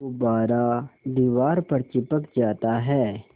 गुब्बारा दीवार पर चिपक जाता है